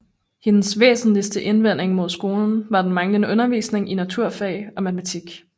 Hendes væsentligste indvending mod skolen var den manglende undervisning i naturfag og matematik